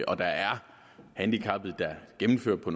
og der er handicappede der gennemfører på